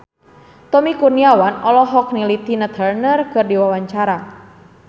Tommy Kurniawan olohok ningali Tina Turner keur diwawancara